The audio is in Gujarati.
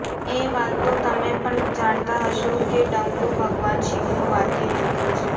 એ વાતતો તમે પણ જાણતા હશો કે ડમરુ ભગવાન શિવનું વાદ્ય યંત્ર છે